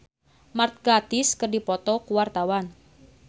Anggun C. Sasmi jeung Mark Gatiss keur dipoto ku wartawan